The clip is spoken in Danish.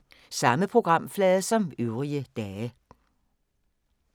Samme programflade som øvrige dage